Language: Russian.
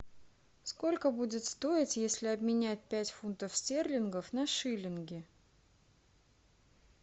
сколько будет стоить если обменять пять фунтов стерлингов на шиллинги